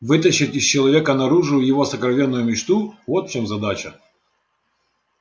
вытащить из человека наружу его сокровенную мечту вот в чем задача